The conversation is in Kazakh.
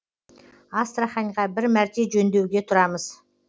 астраханьға бір мәрте жөндеуге тұрамыз